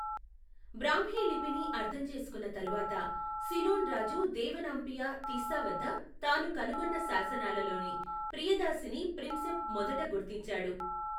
బ్రాహ్మీ లిపిని అర్థం చేసుకున్న తరువాత, సిలోన్ రాజు దేవనాంపియా తిస్సా వద్ద తాను కనుగొన్న శాసనాలలోని ప్రియదాసిని ప్రిన్సెప్ మొదట గుర్తించాడు.